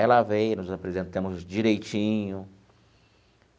Ela veio, nos apresentamos direitinho.